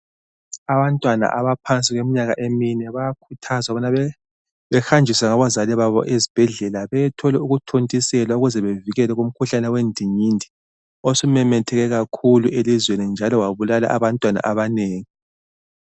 Abantwana abaphansi kweminyaka emine bayakhuthazwa ukubana behanjiswe ngabazali babo esibhedlela beyethola ukuthontiselwa ukuze bevikeleke kumkhuhlane wendingindi osumemetheke kakhulu elizweni njalo wabulala abantwana banengi.